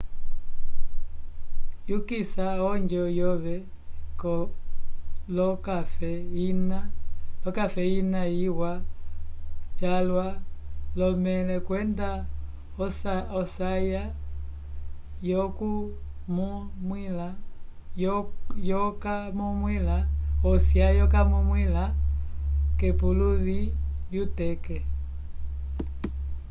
yukisa onjo yove l'okafe ina iwa calwa l'omẽle kwenda osya yokamumwila k'epuluvi lyuteke